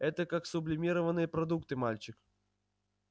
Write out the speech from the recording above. это как сублимированные продукты мальчик